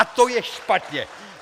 A to je špatně.